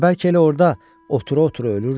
Və bəlkə elə orda otura-otura ölürdü.